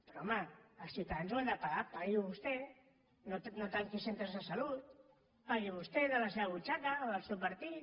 però home els ciutadans ho han de pagar pagui ho vostè no tanqui centres de salut pagui ho vostè de la seva butxaca o del seu partit